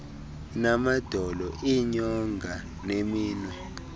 namadolo iinyonga neminwe